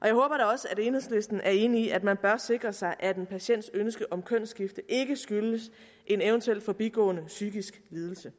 også at enhedslisten er enig i at man bør sikre sig at en patients ønske om kønsskifte ikke skyldes en eventuel forbigående psykisk lidelse